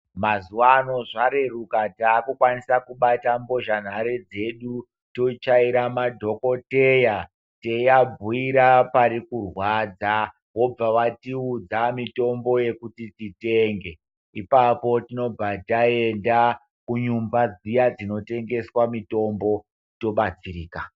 Mazuwa ano zvareruka taakukwanisa kubata mbozha nhare dzedu tochaira madhokotheya teabhiira pari kurwadza. Vobva vatiudza mitombo yekuti titenge. Ipapo tinobva taenda kuimba dzinotengesa mitombo tobatsirika.